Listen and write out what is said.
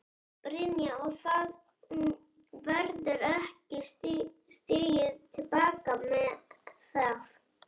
Brynja: Og það verður ekki stigið til baka með það?